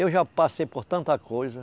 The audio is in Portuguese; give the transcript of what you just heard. Eu já passei por tanta coisa.